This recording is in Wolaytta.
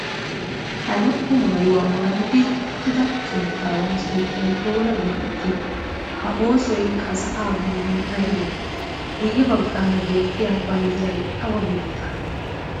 Ha lo"o maayuwa maayidi uttida keettaawaa sunttay oona geetettii? A oosoy ha sa'aa bollan aybee? Guyye baggaara beettiya banddiray awa biittaagee?